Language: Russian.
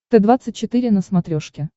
т двадцать четыре на смотрешке